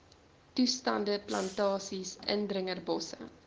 toestande plantasies indringerbosse